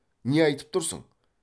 не айтып тұрсың